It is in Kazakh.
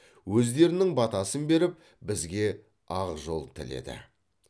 өздерінің батасын беріп бізге ақжол тіледі